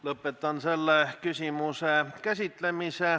Lõpetan selle küsimuse käsitlemise.